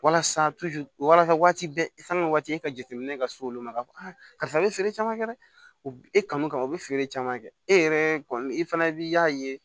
Walasa walasa waati bɛɛ i kan ka waati e ka jateminɛ ka s'olu ma k'a fɔ karisa bɛ feere caman kɛ dɛ u bɛ kanu kama u bɛ feere caman kɛ e yɛrɛ kɔni i fana b'i y'a ye